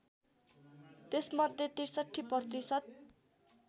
त्यसमध्ये ६३ प्रतिशत